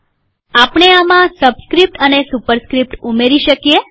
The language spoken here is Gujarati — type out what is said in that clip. આપણે આમાં સબસ્ક્રીપ્ટ અને સુપરસ્ક્રીપ્ટ ઉમેરી શકીએ